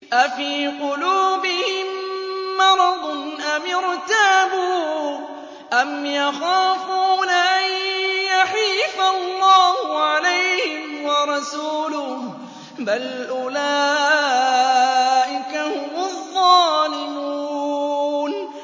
أَفِي قُلُوبِهِم مَّرَضٌ أَمِ ارْتَابُوا أَمْ يَخَافُونَ أَن يَحِيفَ اللَّهُ عَلَيْهِمْ وَرَسُولُهُ ۚ بَلْ أُولَٰئِكَ هُمُ الظَّالِمُونَ